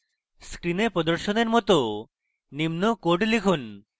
screen প্রদর্শনের মত নিম্ন code লিখুন